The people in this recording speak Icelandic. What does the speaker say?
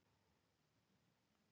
Vængirnir voru alveg extra stórir.